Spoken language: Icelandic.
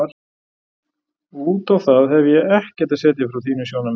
Út á það hefi ég ekkert að setja frá þínu sjónarmiði.